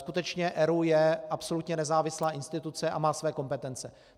Skutečně ERÚ je absolutně nezávislá instituce a má své kompetence.